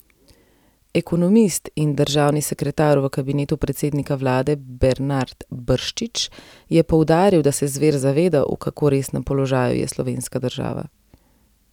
Ekonomist in državni sekretar v kabinetu predsednika vlade Bernard Brščič je poudaril, da se Zver zaveda, v kako resnem položaju je slovenska država.